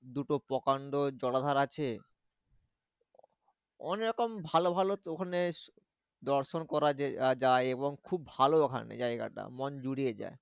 দুটো প্রকান্ড জলাধার আছে। অনেক রকম ভালো ভালো ওখানে দর্শন করা যে, যায় এবং খুব ভালো ওখানে জায়গাটা মন জুড়িয়ে যায়।